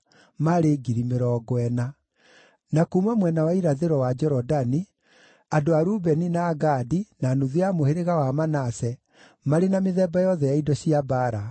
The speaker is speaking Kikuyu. na kuuma mwena wa irathĩro wa Jorodani, andũ a Rubeni, na Gadi, na nuthu ya mũhĩrĩga wa Manase, marĩ na mĩthemba yothe ya indo cia mbaara, maarĩ 120,000.